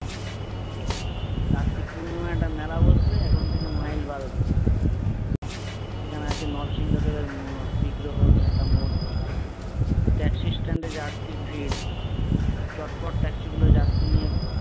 কার্তিক পূর্ণিমায় একটা মেলা বসবে এখন থাকে মাইল বারো দূরে। সেখানে আছে নরসিংহ দেবের হম বিগ্রহ নিয়ে একটা মূর্তি। ট্যাক্সি stand এ যাত্রীর ভিড় চটপট ট্যাক্সিগুলো যাত্রী নিয়ে